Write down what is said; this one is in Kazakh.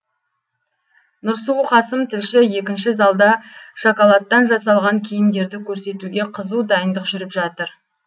нұрсұлу қасым тілші екінші залда шоколадтан жасалған киімдерді көрсетуге қызу дайындық жүріп жатыр